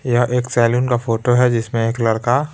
यह एक सैलून का फोटो है जिसमें एक लड़का--